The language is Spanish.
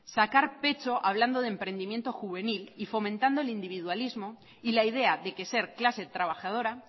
sacar pecho hablando de emprendimiento juvenil y fomentando el individualismo y la idea de que ser clase trabajadora